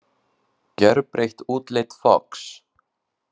Gjörbreytt útlit Fox